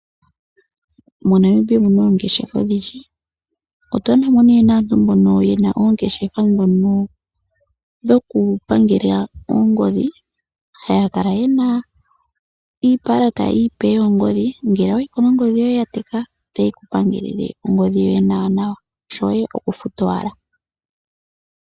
Mo Namibia omuna oongeshefa odhindji. Oto adha mo nee naantu mbono yena oongeshefa ndhono dhokupangela oongodhi haya kala yena iipalate iipe yoongodhi. Ngele owayi ko nongodhi yoye ya teka otaye ku pangelele ongodhi yoye nawa nawa shoye okufuta owala.